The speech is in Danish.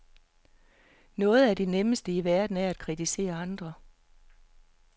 Noget af det nemmeste i verden er at kritisere andre.